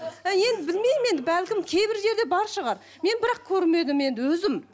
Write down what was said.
әй енді білмеймін енді бәлкім кейбір жерде бар шығар мен бірақ көрмедім енді өзім